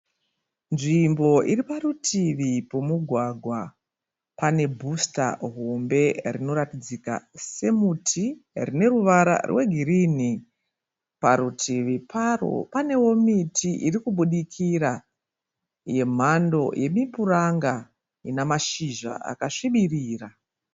Nzvimbo iri parutivi pomugwagwa. Pane bhusita hombe rinoratidzika semuti rine ruvara rwegirinhi. Parutivi paro panewo miti iri kubudikira yemhando yemipuranga ina mashizha akasvibirira.